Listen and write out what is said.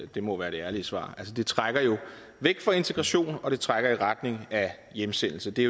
det må være det ærlige svar altså det trækker jo væk fra integration og det trækker i retning af hjemsendelse det